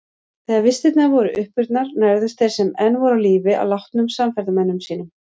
Þegar vistirnar voru uppurnar nærðust þeir sem enn voru á lífi á látnum samferðamönnum sínum.